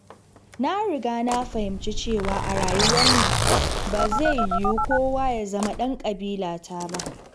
Na riga na fahimci cewa a rayuwar nan, ba zai yiwu kowa ya zama ɗan ƙabilata ba.